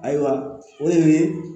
Ayiwa o de ye